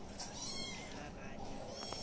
eharani